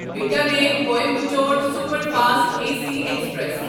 Bikaner Coimbatore superfast A C express